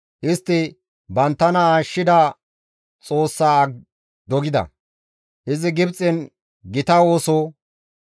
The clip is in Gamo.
Istti banttana ashshida Xoossa dogida; izi Gibxen gita ooso,